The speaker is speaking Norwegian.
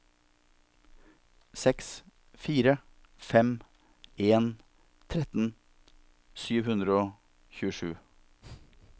seks fire fem en tretten sju hundre og tjuesju